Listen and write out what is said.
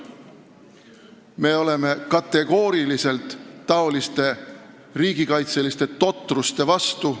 Me oleme kategooriliselt niisuguste riigikaitseliste totruste vastu.